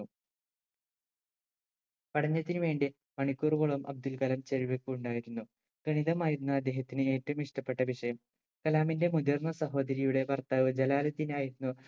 പഠനത്തിനുവേണ്ടി മണിക്കൂറുകളോളം അബ്ദുൽ കലാം ചെലവിപ്പിക്കുമുണ്ടായിരുന്നു ഗണിതമായിരുന്നു അദ്ദേഹത്തിന് ഏറ്റവും ഇഷ്ട്ടപ്പെട്ട വിഷയം കലാമിന്റെ മുതിർന്ന സഹോദരിയുടെ ഭർത്താവ് ജലാലുദിൻ ആയിരുന്നു